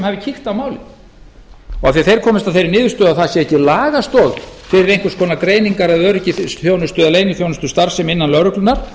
hafi kíkt á málin og af því að þeir komist að þeirri niðurstöðu að ekki sé lagastoð fyrir einhvers konar greiningar öryggis eða leyniþjónustustarfsemi innan lögreglunnar